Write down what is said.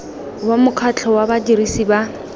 wa mokgatlho wa badirisi ba